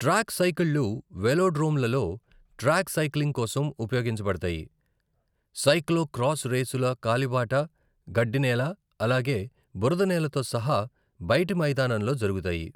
Track సైకిళ్ళు వెలోడ్రోమ్లలో track cycling కోసం ఉపయోగించబడతాయి, సైక్లో క్రాస్ రేసులు కాలిబాట, గడ్డినేల, అలాగే బురదనేలతో సహా బయటి మైదానంలో జరుగుతాయి.